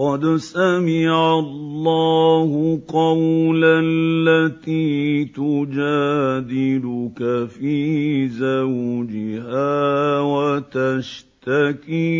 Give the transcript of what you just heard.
قَدْ سَمِعَ اللَّهُ قَوْلَ الَّتِي تُجَادِلُكَ فِي زَوْجِهَا وَتَشْتَكِي